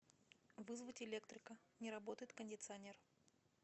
вызвать электрика не работает кондиционер